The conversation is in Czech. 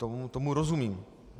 Tomu rozumím.